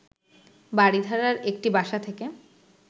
বারিধারার একটি বাসা থেকে